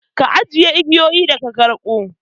Ka ajiye igiyoyin da ka karɓo!